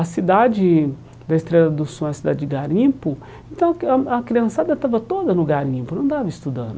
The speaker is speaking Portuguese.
A cidade da Estrela do Sul era a cidade de Garimpo, então a criançada estava toda no Garimpo, não estava estudando.